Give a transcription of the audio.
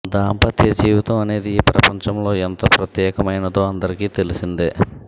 దాంపత్య జీవితం అనేది ఈ ప్రపంచం ఎంత ప్రత్యేకమైనదో అందరికి తెలిసిందే